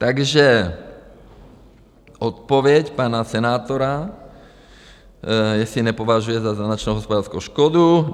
Takže odpověď pana senátora, jestli nepovažuje za značnou hospodářskou škodu.